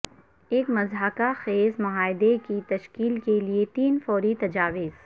ایک مضحکہ خیز معاہدے کی تشکیل کے لئے تین فوری تجاویز